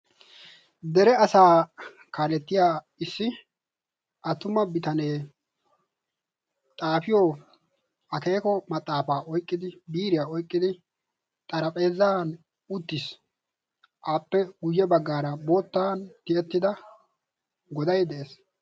Dere asaa kaalettiya issi attuma bitanee xaafiyo akeeko maxaafaa oyqqidi biiriyaa oiqqidi xarahpheezan uttiis. aappe guyye baggaara boottan tiyettida godai de'ees.